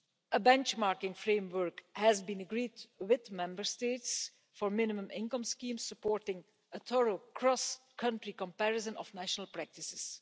A benchmarking framework has been agreed with Member States for minimum income schemes supporting a thorough across-country comparison of national practices.